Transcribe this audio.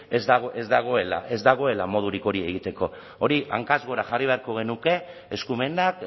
ez dagoela modurik hori egiteko hori hankaz gora jarri beharko genuke eskumenak